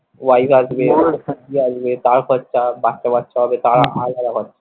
wife আসবে আসবে তার খরচা বাচ্চা কাচ্চা হবে তার আলাদা খরচা।